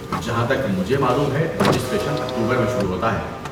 جہاں تک مجھے معلوم ہیں رجسٹریشن اکتوبر میں شروع ہوتا ہے۔